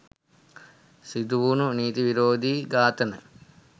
සිදුවුනු නීති විරෝධී ඝාතන